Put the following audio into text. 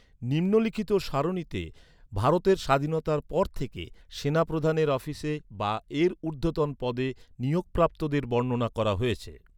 নিম্নলিখিত সারণীতে, ভারতের স্বাধীনতার পর থেকে সেনাপ্রধানের অফিসে বা এর উর্ধ্বতন পদে নিয়োগপ্রাপ্তদের বর্ণনা করা হয়েছে।